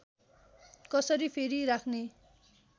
कसरी फेरि राख्ने